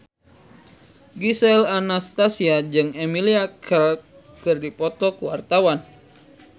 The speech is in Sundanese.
Gisel Anastasia jeung Emilia Clarke keur dipoto ku wartawan